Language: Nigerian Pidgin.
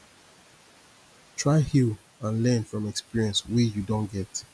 try heal and learn from experience wey you don get